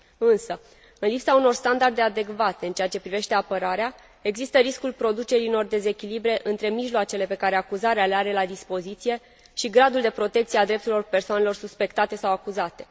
Însă, în lipsa unor standarde adecvate în ceea ce privește apărarea, există riscul producerii unor dezechilibre între mijloacele pe care acuzarea le are la dispoziție și gradul de protecție a drepturilor persoanelor suspectate sau acuzate.